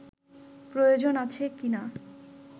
প্রয়োজন আছে কীনা